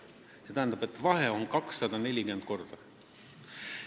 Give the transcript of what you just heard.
See tähendab, et vahe on 240-kordne.